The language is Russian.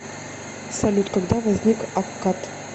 салют когда возник аккад